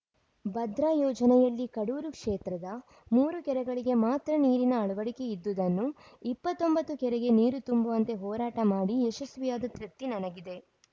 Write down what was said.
ಭದ್ರಾ ಯೋಜನೆಯಲ್ಲಿ ಕಡೂರು ಕ್ಷೇತ್ರದ ಮೂರು ಕೆರೆಗಳಿಗೆ ಮಾತ್ರ ನೀರಿನ ಅಳವಡಿಕೆಯಿದ್ದುದನ್ನು ಇಪ್ಪತ್ತ್ ಒಂಬತ್ತು ಕೆರೆಗೆ ನೀರು ತುಂಬುವಂತೆ ಹೋರಾಟ ಮಾಡಿ ಯಶಸ್ವಿಯಾದ ತೃಪ್ತಿ ನನಗಿದೆ